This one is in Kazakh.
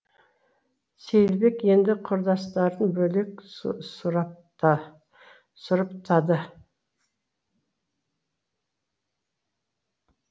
сейілбек енді құрдастарын бөлек сұрыптады